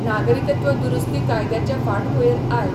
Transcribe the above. नागरिकत्व दुरुस्ती कायद्याचे फाटभुयेर आय.